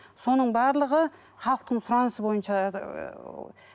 соның барлығы халықтың сұранысы бойынша ыыы